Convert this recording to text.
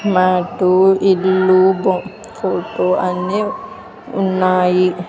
Mat ఇల్లు భొ photo అన్నీ ఉన్నాయి.